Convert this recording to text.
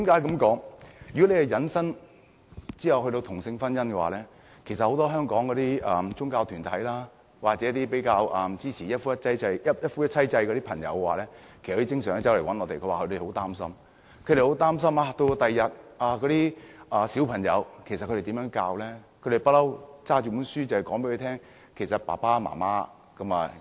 這項議題涉及同性婚姻，香港很多宗教團體，或者一些支持一夫一妻制的人士，經常來向我們表示很擔心，不知道日後如何教導小孩，因為他們一向拿着書本告訴小孩，一個家有爸爸、媽媽及孩子。